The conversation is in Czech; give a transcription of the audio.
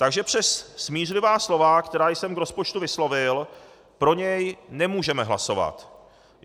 Takže přes smířlivá slova, která jsem k rozpočtu vyslovil, pro něj nemůžeme hlasovat.